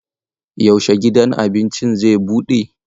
Yaushe gidan abincin zai bude?